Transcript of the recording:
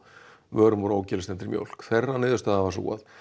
vörum úr mjólk þeirra niðurstaða var sú að